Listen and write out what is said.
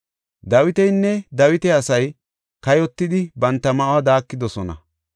Dawitinne Dawita asay kayotidi, banta ma7uwa daakidosona.